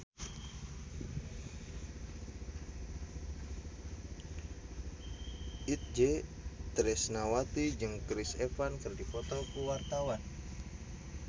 Itje Tresnawati jeung Chris Evans keur dipoto ku wartawan